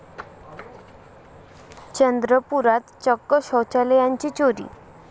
चंद्रपुरात चक्क शौचालयांचीच चोरी